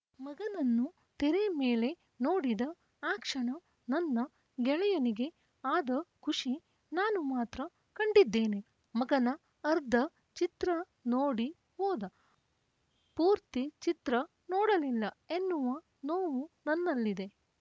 ಮಗನನ್ನು ತೆರೆ ಮೇಲೆ ನೋಡಿದ ಆ ಕ್ಷಣ ನನ್ನ ಗೆಳೆಯನಿಗೆ ಆದ ಖುಷಿ ನಾನು ಮಾತ್ರ ಕಂಡಿದ್ದೇನೆ ಮಗನ ಅರ್ಧ ಚಿತ್ರ ನೋಡಿ ಹೋದ ಪೂರ್ತಿ ಚಿತ್ರ ನೋಡಲಿಲ್ಲ ಎನ್ನುವ ನೋವು ನನ್ನಲ್ಲಿದೆ